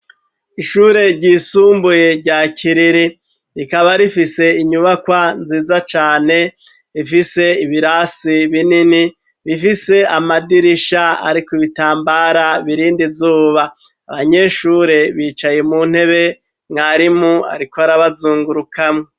Ishure ryisumbuye rya kiriri rikaba rifise inyubakwa nziza cane rifise ibirasi binini bifise amadirisha, ariko ibitambara birindi zuba abanyeshure bicaye mu ntebe mwarimu, ariko arabazungurukamwo.